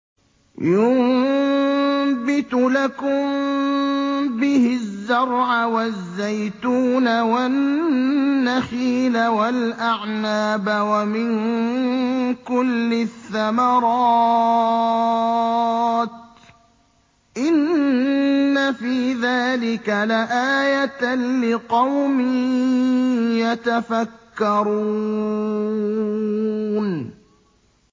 يُنبِتُ لَكُم بِهِ الزَّرْعَ وَالزَّيْتُونَ وَالنَّخِيلَ وَالْأَعْنَابَ وَمِن كُلِّ الثَّمَرَاتِ ۗ إِنَّ فِي ذَٰلِكَ لَآيَةً لِّقَوْمٍ يَتَفَكَّرُونَ